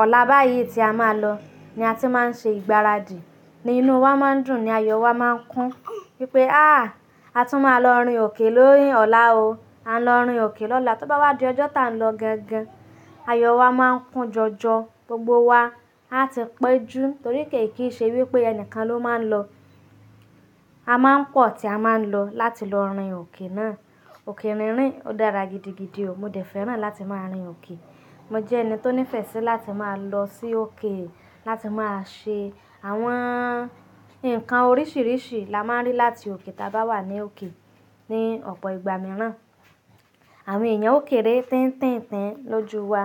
ọ̀la báyìí tí a máa lọ ni a ti máa ń ṣe ìgbáradì. Nínú wa máa ń dùn ni ayọ̀ wa máa ń kún wípé "ááà a tún máa lọ rìn òkè lórí ọ̀la o. A ń lọ rìn òkè lọ́la." Tó bá wá di ọjọ́ tí a ń lọ gangan, ayọ̀ wa máa ń kún jọjọ. Gbogbo wa a ti péjú torí pé kì í ṣe wípé ẹnìkan ló máa ń lọ. A máa ń pọ̀ tí a máa ń lọ láti lọ rìn òkè náà. Òkè rínrín, ó dára gidigidi o. Mo dẹ̀ fẹ́ràn láti máa rìn òkè. Mo jẹ́ ẹni tó nífẹ̀ẹ́ sí láti máa lọ sí òkè láti máa ṣe àwọn Nǹkan oríṣìíríṣìí la máa ń rí láti òkè tí a bá wà ní òkè. Ni ọ̀pọ̀ ìgbà mìíràn, àwọn ẹ̀yàn ó kéré tiń-tiń-tiń lójú wa.